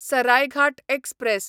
Saraighat express